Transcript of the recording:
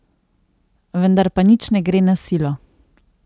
Vendar pa nič ne gre na silo.